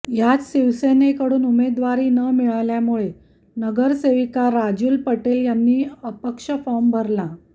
यात शिवसेनेकडून उमेदवारी न मिळाल्यामुळे नगरसेविका राजूल पटेल यांनी अपक्ष फाॅर्म भरला